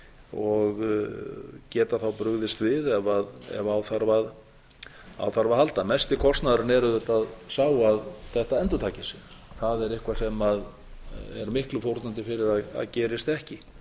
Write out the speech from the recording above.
og geta þá brugðist við ef á þarf að halda mesti kostnaðurinn er auðvitað sá að þetta endurtaki sig það er eitthvað sem er miklu fórnandi fyrir að gerist ekki